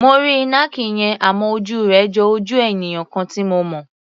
Mo rí ìnàkí yẹn, àmọ́ ojú rẹ̀ jo ojú ènìyàn kan tí mo mọ̀.